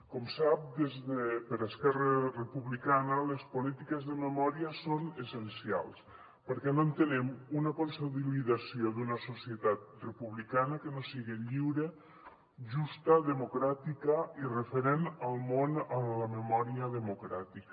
com sap per esquerra republicana les polítiques de memòria són essencials perquè no entenem una consolidació d’una societat republicana que no sigui lliure justa democràtica i referent al món en la memòria democràtica